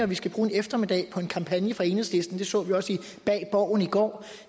vi skal bruge en eftermiddag på en kampagne fra enhedslisten det så vi også i bag borgen i går hvor